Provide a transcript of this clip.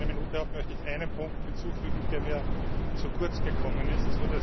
Nachdem ich nur eine Minute habe, möchte ich einen Punkt hinzufügen, der mir zu kurz gekommen ist.